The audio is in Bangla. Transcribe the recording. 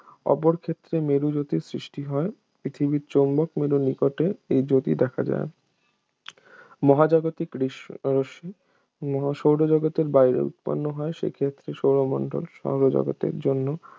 অপরক্ষেত্রে মেরুজ্যোতির সৃষ্টি হয় পৃথিবীর চৌম্বক মেরুর নিকটে এই জ্যোতি দেখা যায় মহাজাগতিক দৃশ্য রশ্মি সৌরজগতের বাইরে উৎপন্ন হয় সেক্ষেত্রে সৌরমণ্ডল সৌরজগতের জন্য